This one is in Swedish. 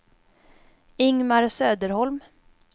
Ingemar Söderholm